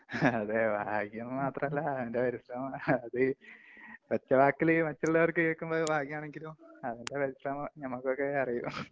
അതേ, ഭാഗ്യമെന്നു മാത്രല്ല. അവന്‍റെ പരിശ്രമം അത് ഒറ്റവാക്കില് മറ്റുള്ളവര്‍ക്ക് കേള്‍ക്കുമ്പോള്‍ ഇത് ഭാഗ്യമാണെങ്കിലും അവന്‍റെ പരിശ്രമം ഞമ്മക്കൊക്കെ അറിയൂ.